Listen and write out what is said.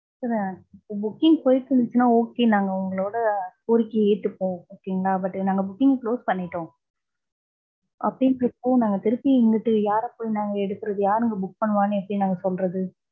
sir, booking போயிட்டு இருந்துச்சுன்னா okay, நாங்க உங்களோட கோரிக்கைய ஏத்துப்போ. okay ங்களா, but நாங்க booking close பண்ணிட்டோம். அப்படின்றபோ நாங்க திருப்பி இங்கிட்டு யாரப் போய் நாங்க எடுக்கிறது. யாரு இங்க book பண்ணுவான்னு எப்டி நாங்க சொல்றது.